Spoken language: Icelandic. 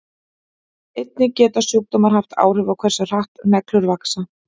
Einnig geta sjúkdómar haft áhrif á hversu hratt neglur vaxa.